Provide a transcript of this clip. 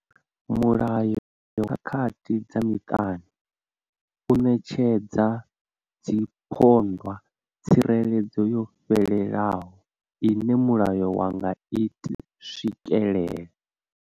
Mulayo wa khakhathi dza muṱani u ṋetshedza dziphondwa tsireledzo yo fhelelaho ine mulayo wa nga i swikela.